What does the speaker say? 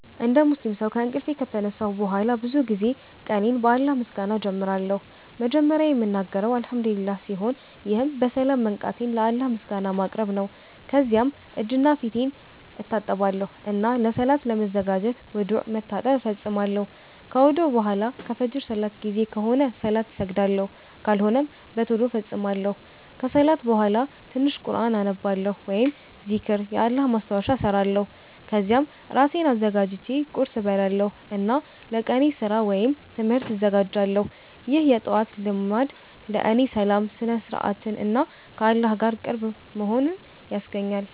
እንደ ሙስሊም ሰው ከእንቅልፍ ከተነሳሁ በኋላ ብዙ ጊዜ ቀኔን በአላህ ምስጋና እጀምራለሁ። መጀመሪያ የምናገረው “አልሐምዱሊላህ” ሲሆን ይህም በሰላም መንቃቴን ለአላህ ምስጋና ማቅረብ ነው። ከዚያም እጄንና ፊቴን እታጠባለሁ እና ለሰላት ለመዘጋጀት ውዱእ (መታጠብ) እፈጽማለሁ። ከውዱእ በኋላ ከፍጅር ሰላት ጊዜ ከሆነ ሰላት እሰግዳለሁ፣ ካልሆነም በቶሎ እፈጽማለሁ። ከሰላት በኋላ ትንሽ ቁርኣን አነባለሁ ወይም ዚክር (የአላህ ማስታወሻ) እሰራለሁ። ከዚያም እራሴን አዘጋጅቼ ቁርስ እበላለሁ እና ለቀኔ ስራ ወይም ትምህርት እዘጋጃለሁ። ይህ የጠዋት ልማድ ለእኔ ሰላምን፣ ስነ-ስርዓትን እና ከአላህ ጋር ቅርብ መሆንን ያስገኛል።